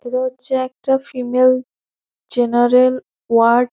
এটা হচ্ছে একটা ফিমেল জেনারেল ওয়ার্ড ।